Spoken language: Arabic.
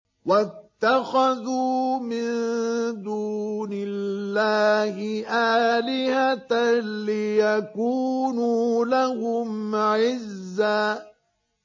وَاتَّخَذُوا مِن دُونِ اللَّهِ آلِهَةً لِّيَكُونُوا لَهُمْ عِزًّا